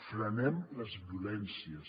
frenem les violències